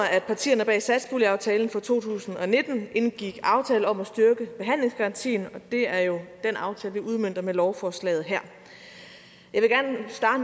at partierne bag satspuljeaftalen for to tusind og nitten indgik aftale om at styrke behandlingsgarantien og det er jo den aftale vi udmønter med lovforslaget her